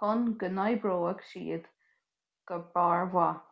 chun go n-oibreoidh siad go barrmhaith